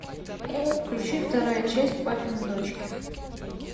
включи вторая часть папины дочки